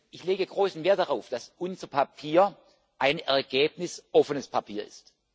Ich lege großen Wert darauf, dass unser Papier ein ergebnisoffenes Papier ist.